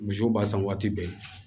Misiw b'a san waati bɛɛ